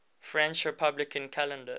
french republican calendar